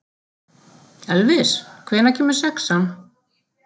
Elvis, hvenær kemur sexan?